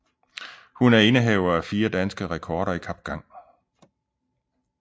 Hun er indehaver af fire danske rekorder i kapgang